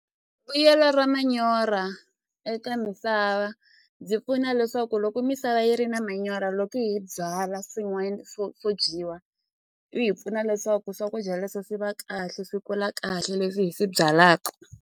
Vuyelo ra manyoro eka misava byi pfuna leswaku loko misava yi ri na manyoro loko hi byala swin'wanyana swo swo dyiwa u hi pfuna leswaku swakudya leswo swi va kahle swi kula kahle leswi hi swi byalaka.